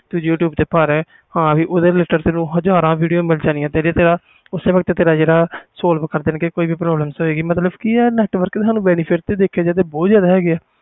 ਤੂੰ you tube ਤੇ ਭਰ ਓਹਦੇ ਤੈਨੂੰ ਹਾਜਰ ਵੀਡੀਓ ਮਿਲ ਜਾਣਿਆ ਆ ਤੇ ਓਸੇ ਵਕਤ ਹਾਲ ਮਿਲ ਜਾਣਾ ਆ ਦੇਖਿਆ ਜਾਵੇ ਤੇ data ਦੇ ਬਹੁਤ ਜਿਆਦਾ benefit ਹੈ ਗੇ ਆ